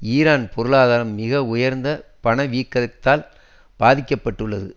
Iran பொருளாதாரம் மிக உயர்ந்த பணவீக்கத்தால் பாதிக்க பட்டுள்ளது